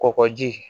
Kɔgɔji